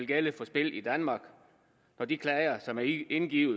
gælde for spil i danmark når de klager som er indgivet